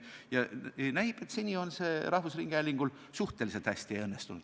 Ja näib, et seni on see rahvusringhäälingul suhteliselt hästi õnnestunud.